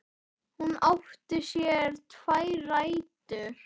Hún átti sér tvær rætur.